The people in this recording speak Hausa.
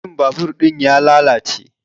Injin babur ɗin ya lalace